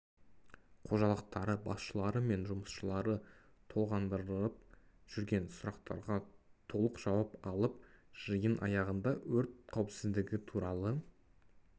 қожалықтары басшылары мен жұмысшылары толғандырып жүрген сұрақтарға толық жауап алып жиын аяғында өрт қауіпсіздігі туралы